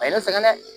A ye ne sɛgɛn dɛ